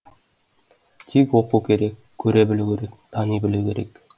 тек оқу керек көре білу керек тани білу керек